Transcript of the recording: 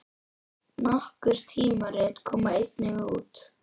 Nokkur tímarit koma einnig út.